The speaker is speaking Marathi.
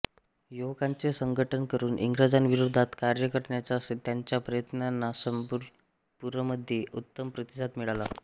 युवकांचे संघटन करून इंग्रजांविरोधात कार्य करण्याच्या त्यांच्या प्रयत्नांना संबलपूरमध्ये उत्तम प्रतिसाद मिळाला